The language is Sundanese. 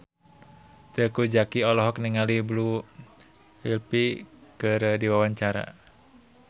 Teuku Zacky olohok ningali Blue Ivy keur diwawancara